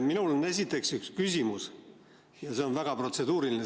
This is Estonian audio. Minul on esiteks üks küsimus ja see on väga protseduuriline.